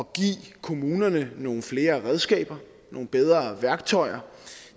give kommunerne nogle flere redskaber nogle bedre værktøjer